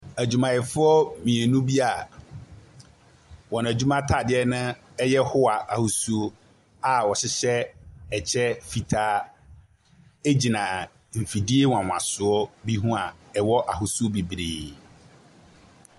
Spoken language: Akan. Adwumayɛfoɔ mmienu bia, wɔn adwuma ataadeɛ no ɛyɛ howa ahosuo a ɔhyehyɛ ɛkyɛ fitaa egyina efidie wanwansoɔ bi ho a ɛwɔ ahosuo bebree.